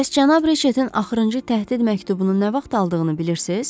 Bəs cənab Riçetin axırıncı təhdid məktubunu nə vaxt aldığını bilirsiz?